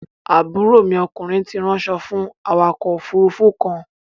Àbúrò mi okùnrin ti ránṣọ fú awakọ̀ òfurufú kan.